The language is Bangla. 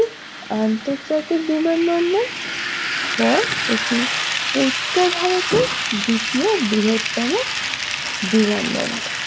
আন্তর্জাতিক বিমানবন্দর পর এটি উত্তর ভারতের দ্বিতীয় বৃহত্তম বিমানবন্দর